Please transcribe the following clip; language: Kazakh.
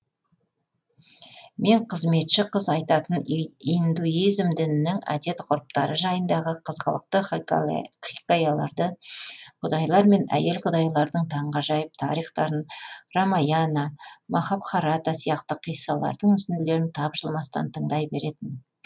мен қызметші қыз айтатын индуизм дінінің әдет ғұрыптары жайындағы қызғылықты хикаяларды құдайлар мен әйел құдайлардың таңғажайып тарихтарын рамаяна махабхарата сияқты қиссалардың үзінділерін тапжылмастан тыңдай беретінмін